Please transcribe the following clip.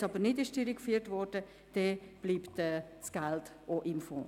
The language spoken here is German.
Falls es nicht durchgeführt wurde, bleibt das Geld im Fonds.